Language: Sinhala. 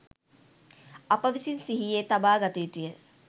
අප විසින් සිහියේ තබාගත යුතු ය.